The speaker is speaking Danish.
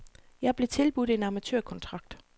Jeg blev tilbudt en amatørkontrakt.